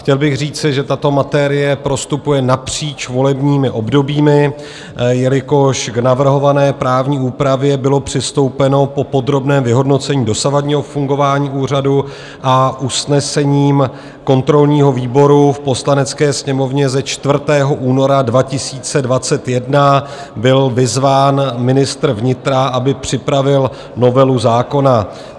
Chtěl bych říci, že tato materie prostupuje napříč volebními obdobími, jelikož k navrhované právní úpravě bylo přistoupeno po podrobném vyhodnocení dosavadního fungování úřadu a usnesením kontrolního výboru v Poslanecké sněmovně ze 4. února 2021 byl vyzván ministr vnitra, aby připravil novelu zákona.